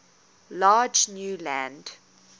large new land